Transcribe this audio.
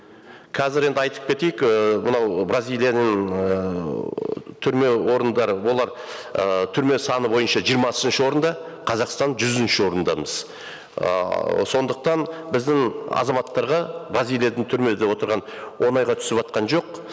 қазір енді айтып кетейік ііі мынау бразилияның ыыы түрме орындары олар ыыы түрме саны бойынша жиырмасыншы орында қазақстан жүзінші орындамыз ыыы сондықтан біздің азаматтарға бразилияның түрмеде отырғаны оңайға түсіватқан жоқ